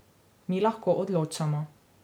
Mi lahko odločamo.